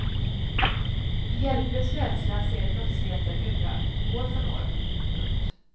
I hjälplös rädsla ser de brottsligheten öka år från år. punkt